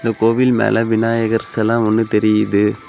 இந்த கோவில் மேல விநாயகர் செல ஒன்னு தெரியுது.